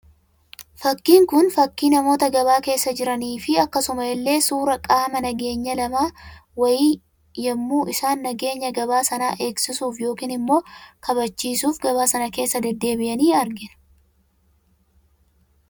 Fakkiin kun fakkii namoota gabaa keessa jiranii fi akkasuma illee illee suuraa qaama nageenyaa lama wayii yemmuu isaan nageenya gabaa sanaa eegsisuuf yookaan immoo kabachiisuuf gabaa sana keessa deddeebi'an argina.